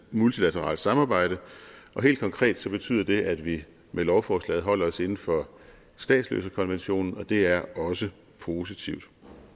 multilateralt samarbejde og helt konkret betyder det at vi med lovforslaget holder os inden for statsløsekonventionen og det er også positivt